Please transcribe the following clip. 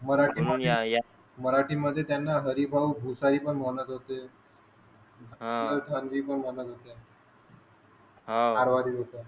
मराठी मध्ये या या मराठी मध्ये त्यांना हरीभाऊ घोसाई पण म्हणत होते अह कुशाल चांदिल पण म्हणत होते हा आराधी घोसई